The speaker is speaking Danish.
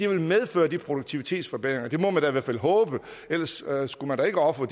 vil medføre de produktivitetsforbedringer det må man da i hvert fald håbe ellers skulle man da ikke ofre